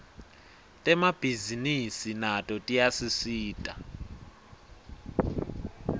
temabhisinisi nato tiyasisita